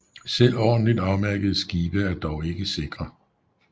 Selv ordentligt afmærkede skibe er dog ikke sikre